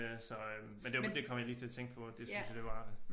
Øh så øh men det det kom jeg lige til at tænke på at det synes jeg det var